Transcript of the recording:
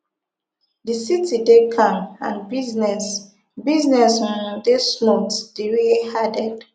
di city dey calm and business business um dey smooth diriye add